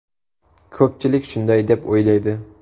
Ko‘pchilik shunday deb o‘ylaydi.